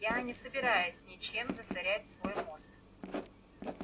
я не собираюсь ничем засорять свой мозг